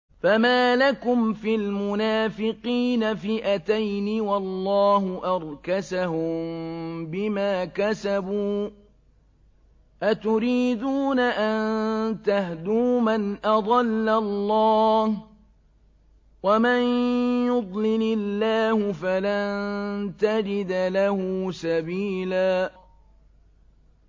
۞ فَمَا لَكُمْ فِي الْمُنَافِقِينَ فِئَتَيْنِ وَاللَّهُ أَرْكَسَهُم بِمَا كَسَبُوا ۚ أَتُرِيدُونَ أَن تَهْدُوا مَنْ أَضَلَّ اللَّهُ ۖ وَمَن يُضْلِلِ اللَّهُ فَلَن تَجِدَ لَهُ سَبِيلًا